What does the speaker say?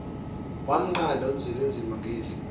wamnqanda uzwelinzima ngeli